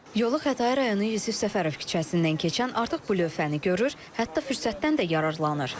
Yolu Xətai rayonu Yusif Səfərov küçəsindən keçən artıq bu lövhəni görür, hətta fürsətdən də yararlanır.